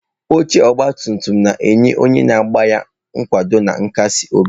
Oche ọgba tum tum na-enye onye na-agba ya nkwado na nkasi obi.